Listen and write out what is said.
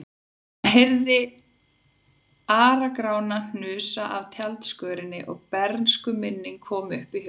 Hann heyrði Ara-Grána hnusa af tjaldskörinni og bernskuminning kom upp í hugann.